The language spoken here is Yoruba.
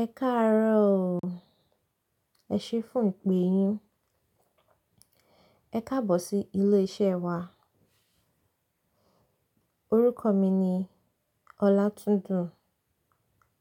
Ẹ káàárọ̀ o. Ẹ ṣé fún ìpè yín. Ẹ káàbọ̀ sí ilé iṣẹ́ wa. Orúkọ mi ni Ọlátúndun.